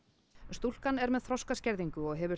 stúlkan er með þroskaskerðingu og hefur